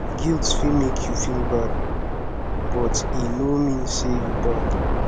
guilt fit mek yu feel bad but e no mean say yu bad